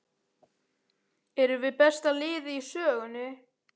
Erum við besta liðið í sögunni?